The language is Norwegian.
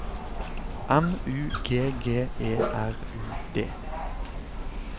M U G G E R U D